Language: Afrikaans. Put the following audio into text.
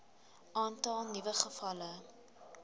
aantal nuwe gevalle